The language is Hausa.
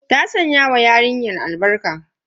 Ta sanya wa yarinyar ta albarka.